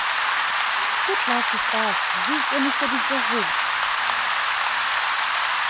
bo tlasetlase bo ikemiseditse ho